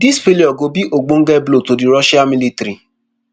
dis failure go be ogbonge blow to di russia military